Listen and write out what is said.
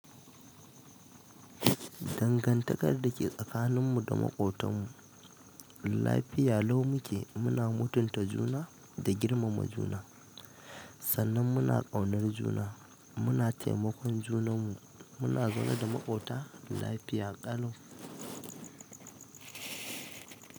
Dangantakar da ke tsakaninmu da maƙotanmu lafiya lau muke muna mutunta juna da girmama juna sannan muna ƙaunar juna muna taimakon junanmu, muna zaune da makwafta lafiya lai.